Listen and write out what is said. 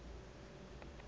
tierra del fuego